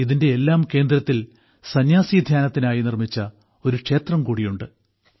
ഇതിന്റെയെല്ലാം കേന്ദ്രത്തിൽ സന്യാസീധ്യാനത്തിനായി നിർമ്മിച്ച ഒരു ക്ഷേത്രം കൂടിയുണ്ട്